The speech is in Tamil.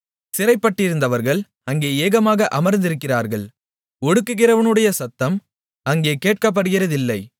சிறைப்பட்டிருந்தவர்கள் அங்கே ஏகமாக அமர்ந்திருக்கிறார்கள் ஒடுக்குகிறவனுடைய சத்தம் அங்கே கேட்கப்படுகிறதில்லை